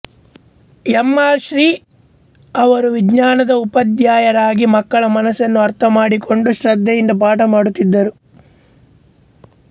M R Shri ಅವರು ವಿಜ್ಞಾನದ ಉಪಾಧ್ಯಾಯರಾಗಿ ಮಕ್ಕಳ ಮನಸ್ಸನ್ನು ಅರ್ಥಮಾಡಿಕೊಂಡು ಶ್ರದ್ಧೆಯಿಂದ ಪಾಠ ಮಾಡುತ್ತಿದ್ದರು